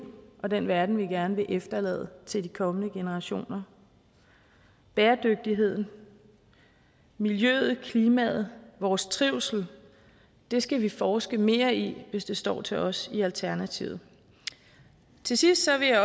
og den verden vi gerne vil efterlade til de kommende generationer bæredygtigheden miljøet klimaet og vores trivsel skal vi forske mere i hvis det står til os i alternativet til sidst vil